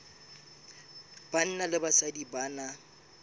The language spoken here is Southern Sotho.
banna le basadi ba na